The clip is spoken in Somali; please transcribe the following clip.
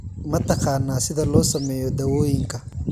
Ma taqaanaa sida loo sameeyo dawooyinka?